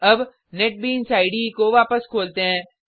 अब NetBeans IDE को वापस खोलते हैं